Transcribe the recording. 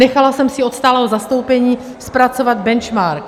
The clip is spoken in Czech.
Nechala jsem si od stálého zastoupení zpracovat benchmark.